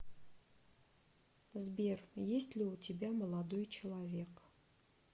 сбер есть ли у тебя молодой человек